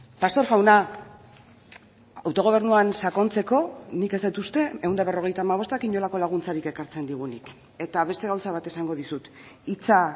pastor jauna autogobernuan sakontzeko nik ez dut uste ehun eta berrogeita hamabostak inolako laguntzarik ekartzen digunik eta beste gauza bat esango dizut hitza